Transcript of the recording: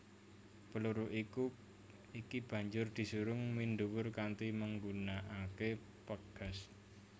Peluru iki banjur disurung minduwur kanti menggunakaké pegas